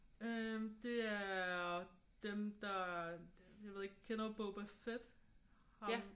Øh det er dem der jeg ved ikke kender du Boba Fett? Ham